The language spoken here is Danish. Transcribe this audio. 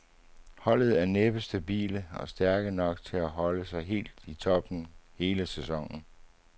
Holdet er næppe stabile og stærke nok til at holde sig helt i toppen hele sæsonen.